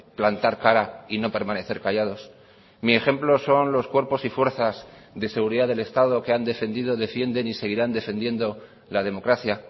plantar cara y no permanecer callados mi ejemplo son los cuerpos y fuerzas de seguridad del estado que han defendido defienden y seguirán defendiendo la democracia